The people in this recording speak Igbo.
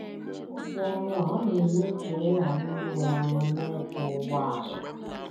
Ibu ọrụ a ọ̀ na - eme ka ị ghara inwe ọṅụ n’ịkwọ ụgbọala?